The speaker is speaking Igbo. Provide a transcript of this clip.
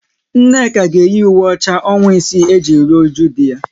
Nneka ga eyi ùwé ọcha ọnwa isii e ji rụọ ụju di ya